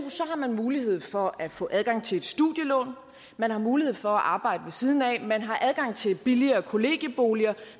har man mulighed for at få adgang til et studielån man har mulighed for at arbejde ved siden af man har adgang til billigere kollegieboliger